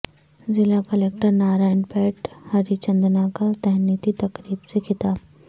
ضلع collector Narayanpet Hari Chandana کا تہنیتی تقریب سے خطاب